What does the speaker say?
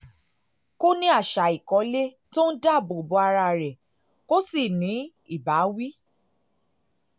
kó o ní àṣà ìkọ́lé tó ń dáàbò bo ara rẹ kó o sì ní ìbáwí